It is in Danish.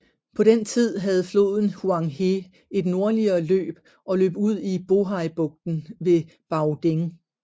På den tid havde floden Huang He et nordligere løb og løb ud i Bohaibugten ved Baoding